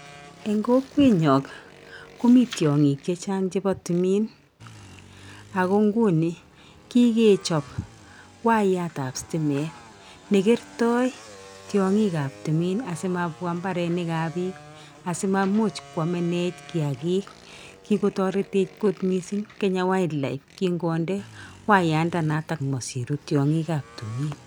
Eng' kokwenyon komii tiong'ik chechang chepo timin. Ago nguni kikechop wayat ap stimet ne kertoi tiong'ikab timin asimabwaa mbarenikab biik asimaimuch kwamenech kiyagiik. Kikotoretech kot missing Kenya wildlife kin konde wayandanotok mosiru tiong'ikab timin.